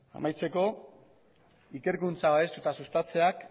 amaitzeko ikerkuntza babestu eta sustatzeak